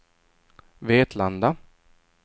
Vetlanda